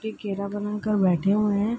की घेरा बनाकर बैठे हुए है।